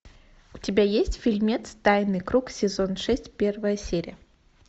у тебя есть фильмец тайный круг сезон шесть первая серия